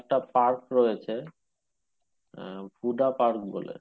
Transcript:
একটা park রয়েছে আহ হুডা park বলে।